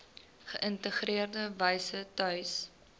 geïntegreerde wyse tuis